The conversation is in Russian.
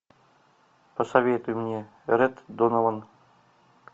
посоветуй мне ред донован